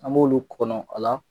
An b'olu kɔnɔ a la